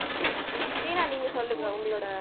தீனா நீங்க சொல்லுங்க உங்களோட